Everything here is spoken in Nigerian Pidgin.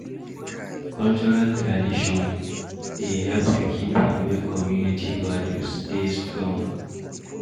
Cultural tradion dey help to keep and make community values dey strong